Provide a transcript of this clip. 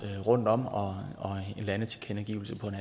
rundtom og en landetilkendegivelse på en